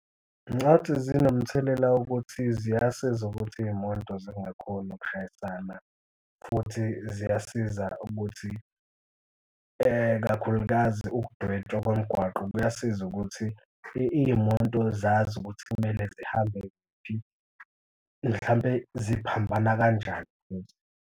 Ngicathi zinomthelela wokuthi ziyasiza ukuthi iy'moto zingakhoni ukshayisana futhi ziyasiza ukuthi kakhulukazi ukudwetshwa kwemigwaqo kuyasiza ukuthi iy'moto zazi ukuthi kumele zihambe kuphi zihambe, ziphambana kanjani futhi.